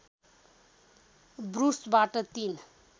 ब्रुसबाट तीन